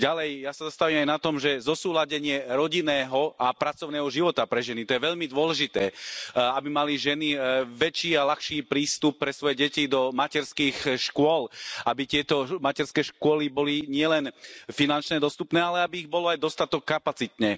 Ďalej ja sa zastavujem aj na tom, že zosúladenie rodinného a pracovného života pre ženy, to je veľmi dôležité, aby mali ženy väčší a ľahší prístup pre svoje deti do materských škôl, aby tieto materské školy boli nielen finančne dostupné, ale aby ich bolo aj dostatok kapacitne.